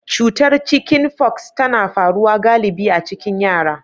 Cutar Chicken fox tana faruwa galibi a cikin yara.